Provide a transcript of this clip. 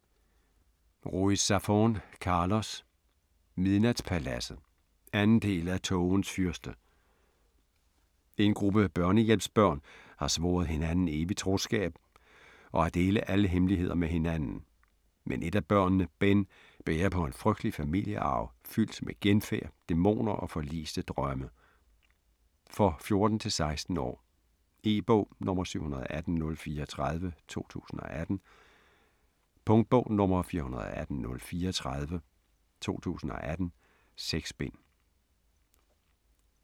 Ruiz Zafón, Carlos: Midnatspaladset 2. del af Tågens fyrste. En gruppe børnehjemsbørn har svoret hinanden evig troskab og at dele alle hemmeligheder med hinanden. Men et af børnene, Ben, bærer på en frygtelig familiearv fyldt med genfærd, dæmoner og forliste drømme. For 14-16 år. E-bog 718034 2018. Punktbog 418034 2018. 6 bind.